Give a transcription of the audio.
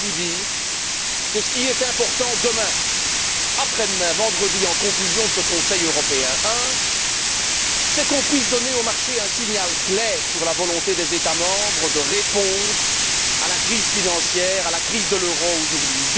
Je dois vous dire que ce qui sera important demain, après demain, vendredi, en conclusion de ce Conseil européen, premièrement c'est qu'on puisse donner aux marchés un signal clair sur la volonté des États membres de répondre à la crise financière, à la crise de l'euro aujourd'hui